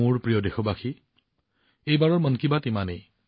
মোৰ প্ৰিয় দেশবাসী এইবাৰৰ মন কী বাত ইমানেই